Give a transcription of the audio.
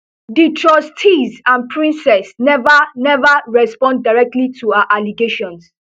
di trustees and princes never never respond directly to her allegations